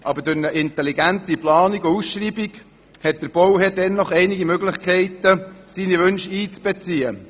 Aber durch eine intelligente Planung und Ausschreibung hat der Bauherr dennoch einige Möglichkeiten seine Wünsche anzubringen.